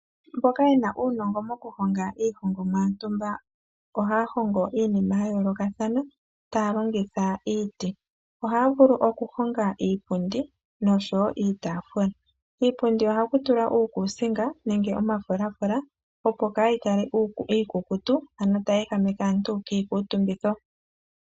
Mboka yena uunongo moku honga iihongomwa yontumba ohaya hongo iinima ya yoolokathana taya longitha iiti. Ohaya vulu oku honga iipundi nosho wo iitaafula. Kiipundi ohaku tulwa uukusinga nenge omafulaafula opo kayi kale iikukutu ano tayi ehameke aantu kiikuutumbitho.